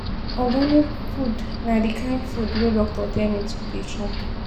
Organic food na di kain food wey doctor tell me to dey chop.